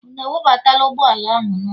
unu ewebatala ukpala ahu n'ulo!